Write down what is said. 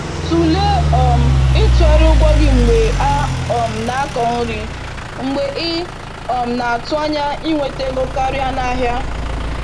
Tụlee um itughari ụgwọ gị mgbe a um na-akọ nri, mgbe ị um na-atụ anya inweta ego karịa n’ahịa.